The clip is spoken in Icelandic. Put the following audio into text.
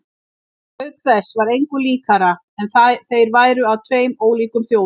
Auk þess var engu líkara en þeir væru af tveim ólíkum þjóðum.